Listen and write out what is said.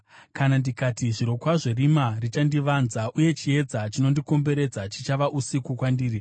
Kana ndikati, “Zvirokwazvo rima richandivanza, uye chiedza chinondikomberedza chichava usiku kwandiri,”